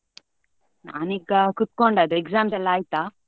ನಾನು ಈಗ ಕುತ್ಕೊಂಡದ್ದು exams ಎಲ್ಲಾ ಆಯ್ತಾ?